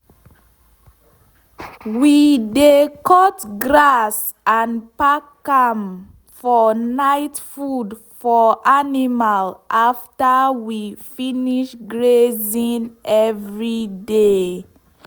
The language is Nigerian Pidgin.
we de cut grass and pack am for night food for animal afta we finish grazing every day.